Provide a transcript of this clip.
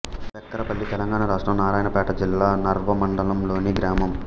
బెక్కరపల్లి తెలంగాణ రాష్ట్రం నారాయణపేట జిల్లా నర్వ మండలంలోని గ్రామం